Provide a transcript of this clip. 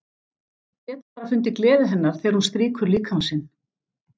Get bara fundið gleði hennar þegar hún strýkur líkama sinn.